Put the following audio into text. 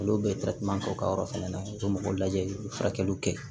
Olu bɛ k'u ka yɔrɔ fɛnɛ na u b'o lajɛ i bɛ furakɛliw kɛ